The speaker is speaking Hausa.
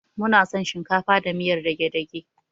Muna son shinkafa da miyar dage-dage.